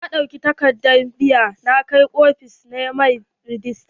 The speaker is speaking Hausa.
Na ɗauka takadar biya na na kai ofis na mai rejista.